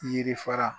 Yiri fara